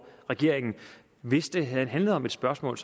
regeringen hvis det havde handlet om et spørgsmål